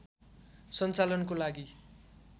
सञ्चालनको लागि